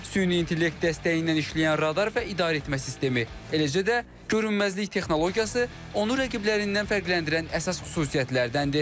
Süni intellekt dəstəyi ilə işləyən radar və idarəetmə sistemi, eləcə də görünməzlik texnologiyası onu rəqiblərindən fərqləndirən əsas xüsusiyyətlərdəndir.